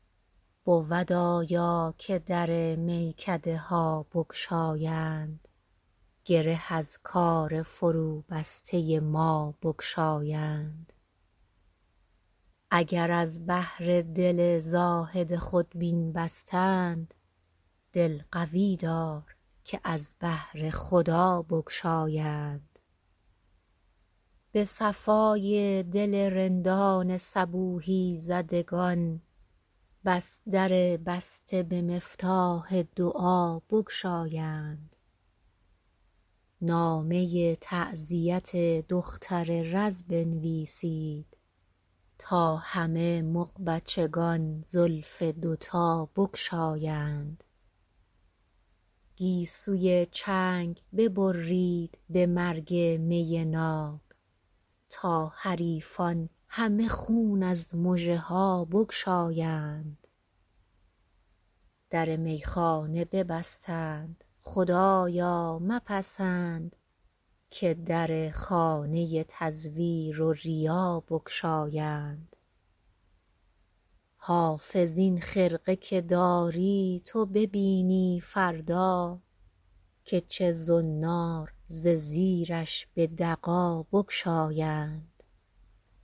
بود آیا که در میکده ها بگشایند گره از کار فروبسته ما بگشایند اگر از بهر دل زاهد خودبین بستند دل قوی دار که از بهر خدا بگشایند به صفای دل رندان صبوحی زدگان بس در بسته به مفتاح دعا بگشایند نامه تعزیت دختر رز بنویسید تا همه مغبچگان زلف دوتا بگشایند گیسوی چنگ ببرید به مرگ می ناب تا حریفان همه خون از مژه ها بگشایند در میخانه ببستند خدایا مپسند که در خانه تزویر و ریا بگشایند حافظ این خرقه که داری تو ببینی فردا که چه زنار ز زیرش به دغا بگشایند